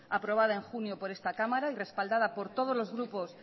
aprobada en junio por esta cámara y respaldada por todos los grupos